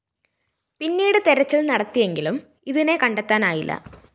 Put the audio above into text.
പിന്നീട് തെരച്ചില്‍ നടത്തിയെങ്കിലും ഇതിനെ കണ്ടെത്താനായില്ല